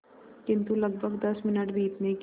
किंतु लगभग दस मिनट बीतने के